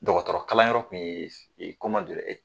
Dɔgɔtɔrɔkalanyɔrɔ tun ye